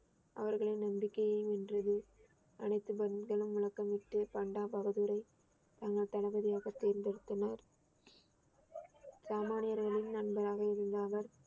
அவர்களின் நம்பிக்கையையும் வென்றது அனைத்து முழக்கமிட்டு பண்டா பகதூரை தங்கள் தளபதியாக தேர்ந்தெடுத்தனர் சாமானியர்களின் நண்பராக இருந்த அவர்